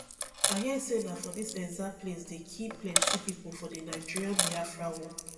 i hear say na for dis exact place dey kill plenty people for the nigerianbiafra war